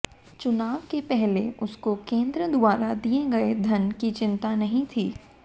चुनाव के पहले उसको केंद्र द्वारा दिए गए धन की चिंता नहीं थी